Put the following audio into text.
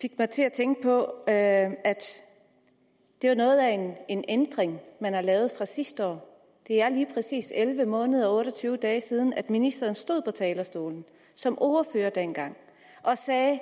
fik mig til at tænke på at det var noget af en ændring man har lavet fra sidste år det er lige præcis elleve måneder og otte og tyve dage siden at ministeren stod på talerstolen som ordfører dengang og sagde